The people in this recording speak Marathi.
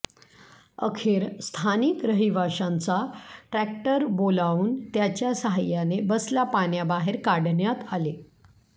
अखेर स्थानिक रहिवाशांचा ट्रॅक्टर बोलावून त्याच्या साहाय्याने बसला पाण्याबाहेर काढण्यात आले